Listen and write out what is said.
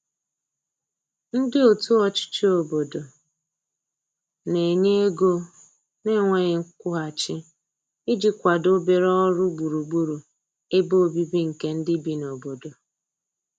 ndi otu ochichi obodo n'enye ego na nweghi nkwuhachi iji kwado obere ọrụ gburugburu ebe ọbìbi nke ndi bi n'obodo